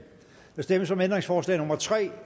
der stemmes om ændringsforslag nummer tre